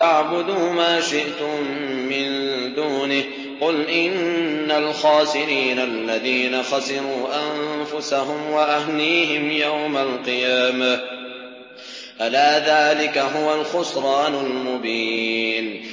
فَاعْبُدُوا مَا شِئْتُم مِّن دُونِهِ ۗ قُلْ إِنَّ الْخَاسِرِينَ الَّذِينَ خَسِرُوا أَنفُسَهُمْ وَأَهْلِيهِمْ يَوْمَ الْقِيَامَةِ ۗ أَلَا ذَٰلِكَ هُوَ الْخُسْرَانُ الْمُبِينُ